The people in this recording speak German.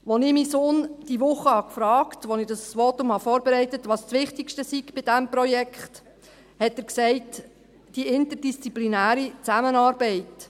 Als ich meinen Sohn diese Woche fragte, was das Wichtigste an diesem Projekt sei, sagte er, die interdisziplinäre Zusammenarbeit.